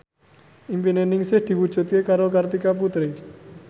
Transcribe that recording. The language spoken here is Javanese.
impine Ningsih diwujudke karo Kartika Putri